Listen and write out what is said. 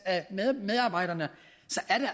af medarbejderne